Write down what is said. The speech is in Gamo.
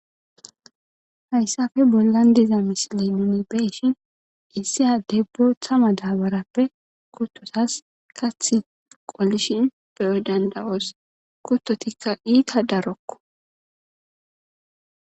hayssafe bollan diza misili nuni beeshin issiya debbo thama daabarappe kuttotas kathi qollishin beyo dandawoos kuttotikka iita darokko